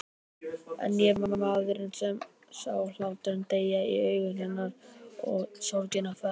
En ég var maðurinn sem sá hláturinn deyja í augum hennar og sorgina fæðast.